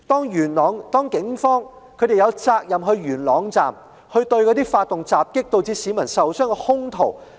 元朗警方有責任前往元朗站，拘捕發動襲擊導致市民受傷的兇徒。